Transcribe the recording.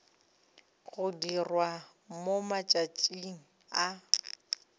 go dirwa mo matšatšing a